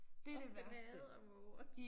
Og han hader måger